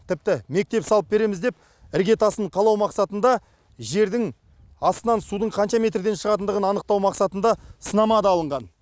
тіпті мектеп салып береміз деп іргетасын қалау мақсатында жердің астынан судың қанша метрден шығатындығын анықтау мақсатында сынама да алынған